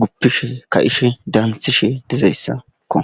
gupishe ka ishe daanthishe dizayssakko